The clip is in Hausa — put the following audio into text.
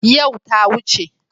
Yau ta wuce.